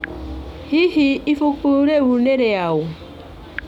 Hihi ibuku rĩu nĩ rĩaũ?